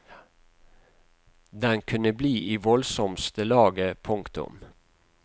Den kunne bli i voldsomste laget. punktum